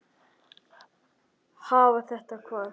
Hafa þetta hvað?